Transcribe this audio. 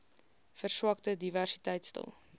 verswakte diversiteit stel